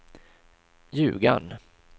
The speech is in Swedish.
Ljugarn